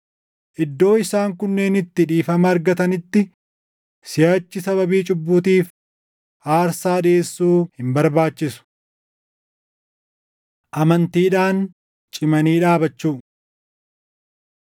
Iddoo isaan kunneen itti dhiifama argatanitti siʼachi sababii cubbuutiif aarsaa dhiʼeessuu hin barbaachisu. Amantiidhaan Cimanii Dhaabachuu